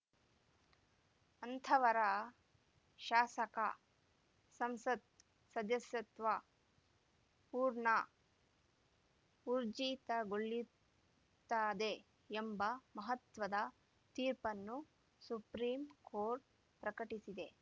ಅಂಥವರ ಶಾಸಕಸಂಸತ್‌ ಸದಸ್ಯತ್ವ ಪೂರ್ಣ ಊರ್ಜಿತಗೊಳಿತ್ತದೆ ಎಂಬ ಮಹತ್ವದ ತೀರ್ಪನ್ನು ಸುಪ್ರೀಂ ಕೋರ್ಟ್‌ ಪ್ರಕಟಿಸಿದೆ